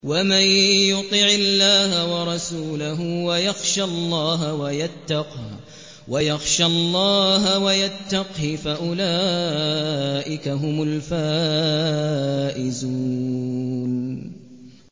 وَمَن يُطِعِ اللَّهَ وَرَسُولَهُ وَيَخْشَ اللَّهَ وَيَتَّقْهِ فَأُولَٰئِكَ هُمُ الْفَائِزُونَ